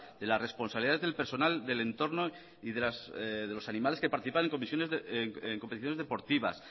de la responsabilidad del personal del entorno y de los animales que participan en competiciones deportivas